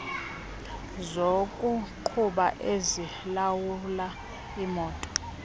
zokuqhuba ezilawula imoto